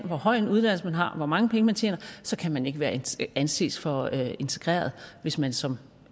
hvor høj en uddannelse man har hvor mange penge man tjener så kan man ikke anses for integreret hvis man som